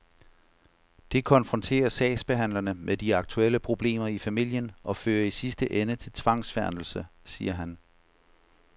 Det konfronterer sagsbehandlerne med de aktuelle problemer i familien og fører i sidste ende til tvangsfjernelse, siger han.